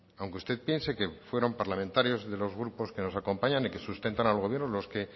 aunque usted piense que fueron parlamentarios de los grupos que nos acompañan y que sustentan al gobierno lo que